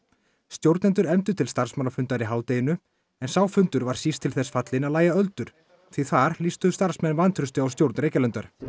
stjórnendur efndu til starfsmannafundar í hádeginu en sá fundur var síst til þess fallinn að lægja öldur því þar lýstu starfsmenn vantrausti á stjórn Reykjalundar